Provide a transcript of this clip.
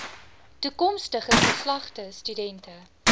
toekomstige geslagte studente